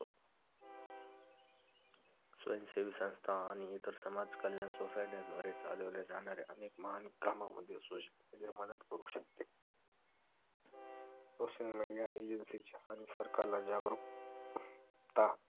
स्वयंसेवी संस्था आणि इतर समाज कल्याण SOSCIETY या द्वारे चालवल्या जाणार्‍या अनेक महान कामामध्ये social media मदत करू शकते SOCIAL MEDIA AGENCY ची सरकारला जागृकता